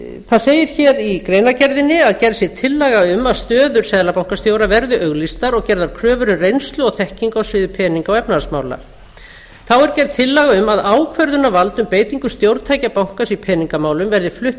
það segir hér í greinargerðinni að gerð sé tillaga um að stöður seðlabankastjóra verði auglýstar og gerðar kröfur um reynslu og þekkingu á sviði peninga og efnahagsmála þá er gerð tillaga um að ákvörðunarvald um beitingu stjórntækja bankans í peningamálum verði flutt til